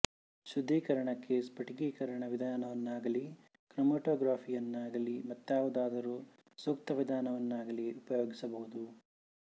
ಶುದ್ದೀಕರಣಕ್ಕೆ ಸ್ಪಟಿಕೀಕರಣ ವಿಧಾನವನ್ನಾಗಲೀ ಕ್ರೊಮಾಟೋಗ್ರಫಿಯನ್ನಾಗಲೀ ಮತ್ತಾವುದಾದರೂ ಸೂಕ್ತ ವಿಧಾನವನ್ನಾಗಲೀ ಉಪಯೋಗಿಸಬಹುದು